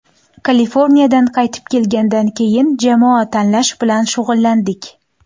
Kaliforniyadan qaytib kelgandan keyin jamoa tanlash bilan shug‘ullandik.